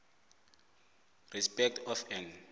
respect of an